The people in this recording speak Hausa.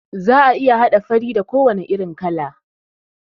Za'a iya haɗa fari da ko wane irin kala